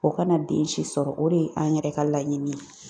O kana den si sɔrɔ, o de ye an yɛrɛ ka laɲini ye.